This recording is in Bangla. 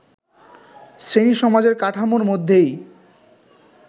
শ্রেণীসমাজের কাঠামোর মধ্যেই